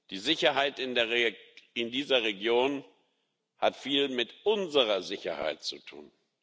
Die Sicherheit in dieser Region hat viel mit unserer Sicherheit zu tun.